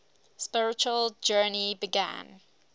spiritual journey began